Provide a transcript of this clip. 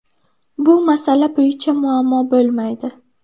Bu masala bo‘yicha muammo bo‘lmaydi.